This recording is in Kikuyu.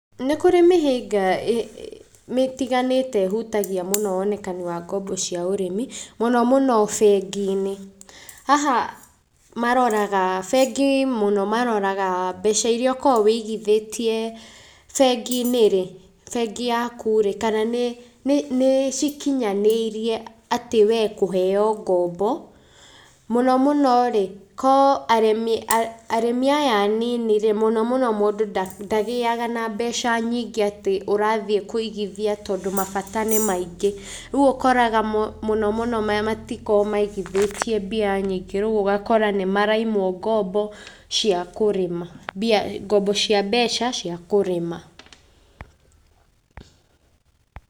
Nĩ kũrĩ mĩhĩnga ĩtiganĩte ĩhutagia mũno wonekani wa ngombo cia ũrĩmi mũno mũno bengi-inĩ. Haha maroraga, bengi mũno maroraga mbeca iria ũkoragwo ũigithĩtie bengi-inĩ rĩ, bengi yaku rĩ, kana nĩ, nĩ cikinyanĩirie atĩ we kũheo ngombo. Mũno mũno rĩ, ko arĩmi, arĩmi aya anini rĩ, mũno mũno mũndũ ndagĩaga na mbeca nyingĩ atĩ ũrathiĩ kũigithia tondũ mabata nĩ maingĩ. Rĩu ũkoraga mũno mũno matikoragwo maigithĩtie mbia nyingĩ, rĩu ũgakora nĩ maraimwo ngombo cia kũrĩma, ngombo cia mbeca cia kũrĩma.